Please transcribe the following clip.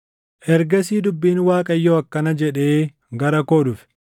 Ergasii dubbiin Waaqayyoo akkana jedhee gara koo dhufe: